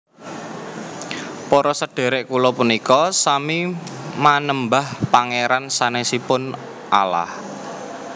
Para sedherek kula punika sami manembah Pangeran sanesipun Allah